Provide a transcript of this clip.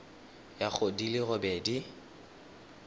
ya go di le robedi